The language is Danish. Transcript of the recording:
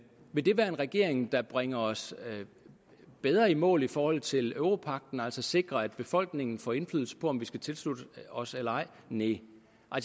vil det være en regering der bringer os bedre i mål i forhold til europagten altså sikre at befolkningen får indflydelse på om vi skal tilslutte os eller ej næh